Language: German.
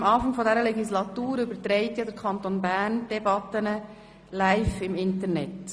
Seit Anfang dieser Legislatur überträgt der Kanton die Debatten live im Internet.